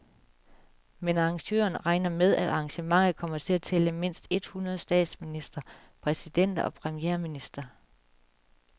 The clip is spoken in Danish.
Men arrangørerne regner med, at arrangementet kommer til at tælle mindst et hundrede statsministre, præsidenter og premierministre.